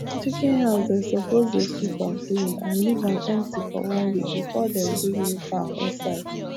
chicken house dem suppose dey sweep am clean and leave am empty for one week before dem bring new fowl inside